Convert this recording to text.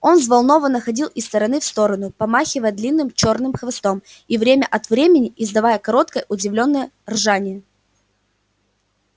он взволнованно ходил из стороны в сторону помахивая длинным чёрным хвостом и время от времени издавая короткое удивлённое ржание